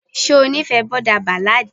ṣe ó nífẹ̀ẹ́ boarder ballad.